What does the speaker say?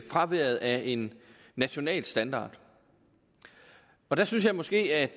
fraværet af en national standard og der synes jeg måske at